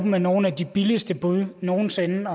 med nogle af de laveste bud nogen sinde